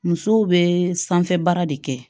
Musow bɛ sanfɛ baara de kɛ